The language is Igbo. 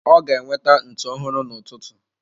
Ọ ga-enweta ntụ ọhụrụ n'ụtụtụ.